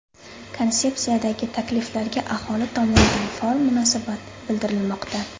Konsepsiyadagi takliflarga aholi tomonidan faol munosabat bildirilmoqda.